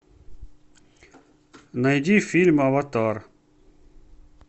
найди фильм аватар